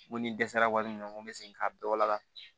N ko ni dɛsɛra wari min bɛ segin ka bɛɛ wala